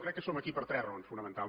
crec que som aquí per tres raons fonamentals